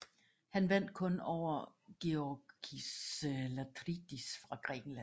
Han vandt kun over Georgis Latridis fra Grækenland